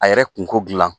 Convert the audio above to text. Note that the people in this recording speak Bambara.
A yɛrɛ kunko gilan